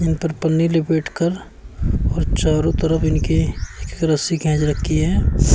इन पर पन्नी लिपेटकर और चारों तरफ इनके एक रस्सी खैंच रखी है।